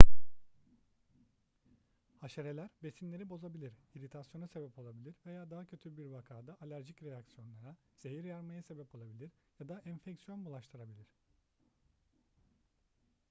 haşereler besinleri bozabilir iritasyona sebep olabilir veya daha kötü bir vakada alerjik reaksiyonlara zehir yaymaya sebep olabilir ya da enfeksiyon bulaştırabilir